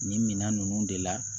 Nin minan ninnu de la